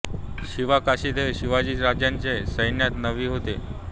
शिवा काशीद हे शिवाजी राज्यांच्या सैन्यात न्हावी होते